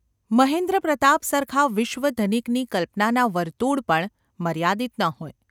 મહેન્દ્રપ્રતાપ સરખા વિશ્વધનિકની કલ્પનાનાં વર્તુલ પણ મર્યાદિત ન હોય.